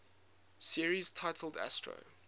series titled astro